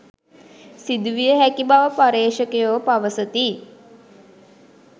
සිදුවිය හැකි බව පර්යේෂකයෝ පවසති